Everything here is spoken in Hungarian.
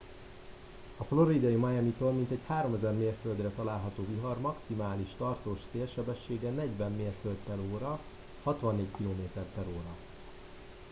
a floridai miamitól mintegy 3000 mérföldre található vihar maximális tartós szélsebessége 40 mérföld/h 64 km/h